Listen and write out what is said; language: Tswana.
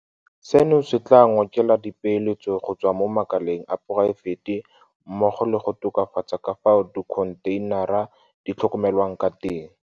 Seno se tla ngokela dipeeletso go tswa mo makaleng a poraefete mmogo le go tokafatsa ka fao dikho ntheinara di tlhokomelwang ka teng.